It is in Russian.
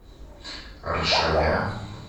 рошаля